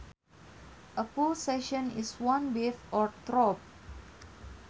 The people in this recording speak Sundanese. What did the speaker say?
A pulsation is one beat or throb